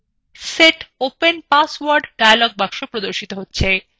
set open password dialog box প্রদর্শিত হচ্ছে